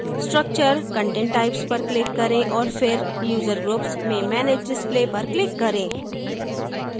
structure content types पर click करें और फिर user groups में manage display पर click करें